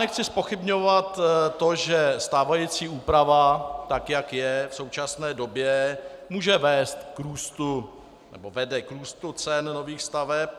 Nechci zpochybňovat to, že stávající úprava, tak jak je v současné době, může vést k růstu, nebo vede k růstu cen nových staveb.